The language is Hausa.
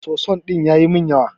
Soso din yayi min yawa.